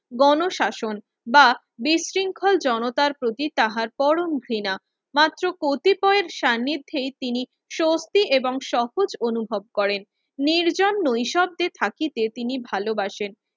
গণশাসন বা বিশৃঙ্খল জনতার প্রতি তাহার পরম ঘৃণা মাত্ৰ প্রতি পয়ের সানিধ্যে তিনি স্বস্তি এবং সহজ অনুভাব করেন। নির্জন নৈঃশব্দে থাকিতে তিনি ভালোবাসেন